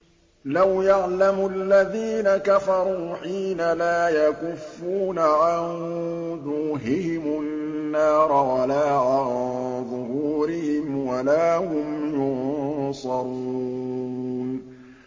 لَوْ يَعْلَمُ الَّذِينَ كَفَرُوا حِينَ لَا يَكُفُّونَ عَن وُجُوهِهِمُ النَّارَ وَلَا عَن ظُهُورِهِمْ وَلَا هُمْ يُنصَرُونَ